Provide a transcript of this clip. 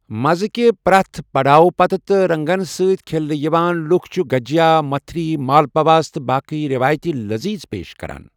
مزٕ کہِ پرٛٮ۪تھ پڑاؤ پتہٕ تہٕ رنگن ستۍ کھیلنہٕ یِوان لوٗکھ چھِ گجیا، متھری، مالپواس تہٕ باقےٕ روایتی لذیذ پیش کران۔